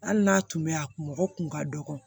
Hali n'a tun mɛ a kun mɔgɔ kun ka dɔgɔ